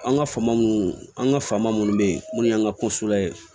An ka faama munnu an ka faama munnu be yen n'u y'an ka ko sula ye